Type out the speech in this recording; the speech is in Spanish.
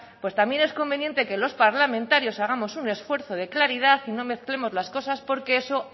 también es conveniente que los parlamentarios hagamos un esfuerzo de claridad y no mezclemos las cosas porque eso